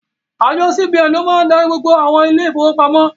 Àjọ CBN ni ó máa darí gbogbo àwọn ilé ìfowópamọ́.